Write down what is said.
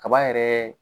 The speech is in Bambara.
Kaba yɛrɛ